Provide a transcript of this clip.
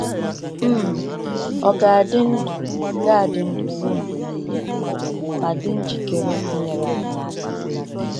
um Ọ ga-adị ndụ ga-adị ndụ ruo mgbe niile ma dị njikere inyere anyị aka.